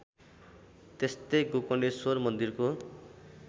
त्यस्तै गोकर्णेश्वर मन्दिरको